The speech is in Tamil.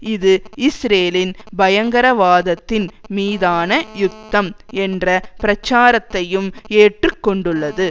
இது இஸ்ரேலின் பயங்கரவாதத்தின் மீதான யுத்தம் என்ற பிரச்சாரத்தையும் ஏற்றுக்கொண்டுள்ளது